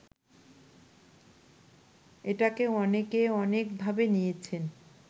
এটাকে অনেকে অনেকভাবে নিয়েছেন